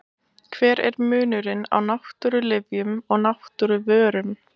Hver er munurinn á náttúrulyfjum og náttúruvörum?